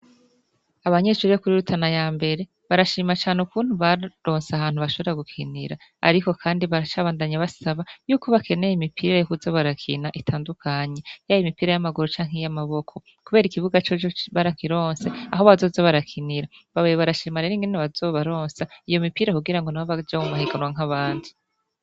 Abanyeshure bo kuri Rutana yambere barashima cane ukuntu baronse ahantu bashobora gukinira ariko kandi baracabandanya basaba yuko bakeneye imipira yo kuza barakina itandukanye, yaba impira y'amaguru canke iy'amaboko kubera ikibuga coco barakironse aho bazoza barakinira. Babaye barashima rero ingene bazobaronsa iyo mipira kugirango nabo baje mu mahiganwa nk'abandi